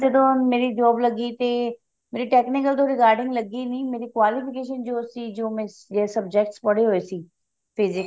ਜਦੋਂ ਮੇਰੀ job ਲੱਗੀ ਤੇ ਮੇਰੀ technical ਏ regarding ਲੱਗੀ ਨੀ ਮੇਰੀ qualification ਜੋ ਸੀ ਤੇ ਜੋ ਮੈਂ subject ਪੜ੍ਹੇ ਹੋਏ ਸੀ ਤੇ